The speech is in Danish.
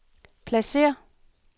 pladsér